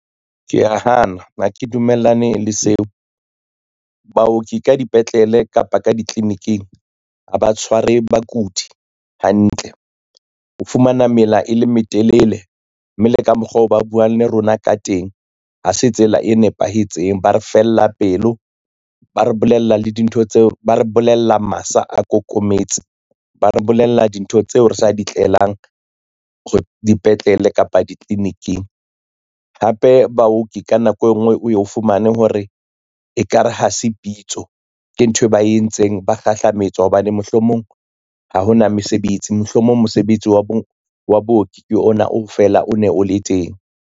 Ke ya hana ha ke dumellane le seo, baoki ka dipetlele kapa ka ditliliniking a ba tshware bakudi hantle, o fumana mela e metelele, mme le ka mokgwa o ba buang le rona ka teng ha se tsela e nepahetseng. Ba re fella pelo, ba re bolella masa a kokometse, ba re bolella dintho tseo re sa di tlelang dipetlele kapa ditliliniking. Hape baoki ka nako e ngwe o ye o fumane hore ekare ha se pitso ke nthwe ba e entseng ba kgahlametswa hobane mohlomong ha hona mesebetsi, mohlomong mosebetsi wa booki ke ona o fela o ne o le teng.